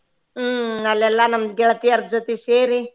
ಹ್ಮ್ ಅಲ್ಲೆಲ್ಲ ನಮ್ ಗೆಳ್ತಿಯರ ಜೊತೆ ಸೇರಿ.